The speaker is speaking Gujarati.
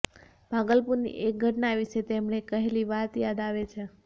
ભાગલપુરની એક ઘટના વિશે તેમણે કહેલી વાત યાદ આવે છે